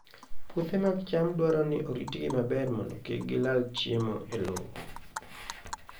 Puothe mag cham dwaro ni oritgi maber mondo kik gilal chiemo e lowo.